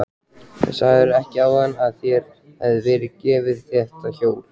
Sagðirðu ekki áðan að þér hefði verið gefið þetta hjól?